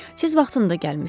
Siz vaxtında gəlmisiz.